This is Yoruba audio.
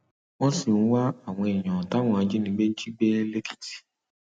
wọn sì ń wá àwọn èèyàn táwọn ajìnígbé jí gbé lọ lẹkìtì